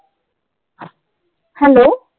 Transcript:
Hello